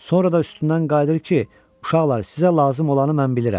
Sonra da üstündən qayıdır ki, uşaqlar, sizə lazım olanı mən bilirəm.